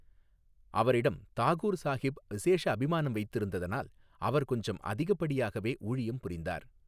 அவரிடம் தாகூர் சாஹிப் விசேஷ அபிமானம் வைத்திருந்ததனால் அவர் கொஞ்சம் அதிகப்படியாகவே ஊழியம் புரிந்தார்.